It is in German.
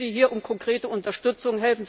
Ich bitte Sie hier um konkrete Unterstützung.